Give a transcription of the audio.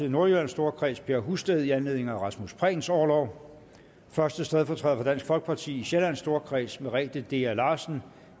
i nordjyllands storkreds per husted i anledning af rasmus prehns orlov første stedfortræder for dansk folkeparti i sjællands storkreds merete dea larsen